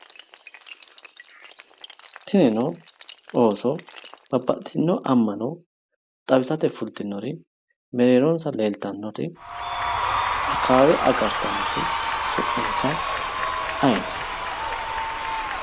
Tinino ooso babbaxitino ama'no xawisate fulitinore mereeronsa leellittanoti akawawe agartanoti su'minsa ayeeti?